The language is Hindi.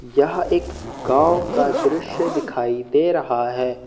यहां एक गांव का दृश्य दिखाई दे रहा है।